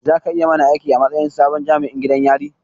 Za ka yi mana aiki a matsayin sabon jami'in gidan yari